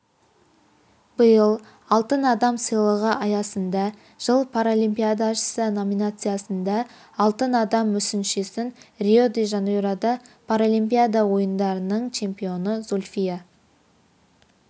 биыл алтын адам сыйлығы аясында жыл паралимпиадашысы номинациясында алтын адам мүсіншесін рио-де-жанейрода паралимпиада ойындарының чемпионы зульфия